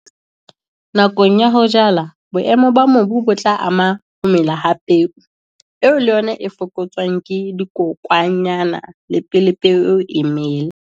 Nakong ya ho jala, boemo ba mobu bo tla ama ho mela ha peo, eo le yona e ka fokotswang ke dikokwanyana le pele peo eo e mela.